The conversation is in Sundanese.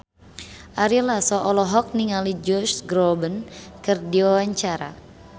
Ari Lasso olohok ningali Josh Groban keur diwawancara